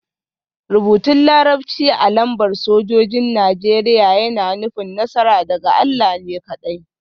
Rubutun Larabci a lambar sojojin Najeriya yana nufin; Nasara daga Allah ne kaɗai